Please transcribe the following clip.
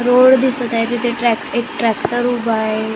Road दिसतं आहे. तिथं ट्रॅक एक ट्रॅक्टर उभा आहे.